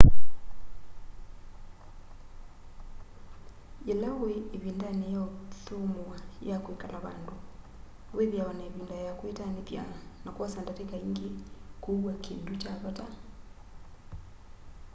yĩla wĩ ĩvindanĩ ya ũthũmũa ya kwĩkala vandũ wĩthĩawa na ĩvinda ya kwĩtanĩthya na kwosa ndatĩka ingĩ kũua kĩndũ kya vata